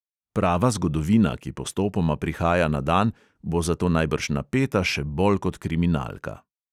Prava zgodovina, ki postopoma prihaja na dan, bo zato najbrž napeta še bolj kot kriminalka.